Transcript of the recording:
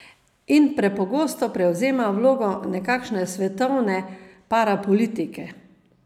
In prepogosto prevzema vlogo nekakšne svetovne parapolitike.